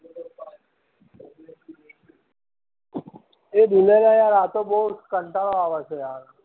એ દુગરલા યાર આતો બઉ કંટાળો આવે છે લા